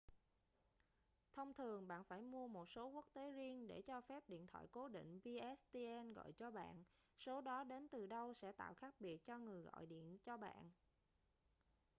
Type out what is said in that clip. thông thường bạn phải mua một số quốc tế riêng để cho phép điện thoại cố định pstn gọi cho bạn số đó đến từ đâu sẽ tạo khác biệt cho người gọi điện cho bạn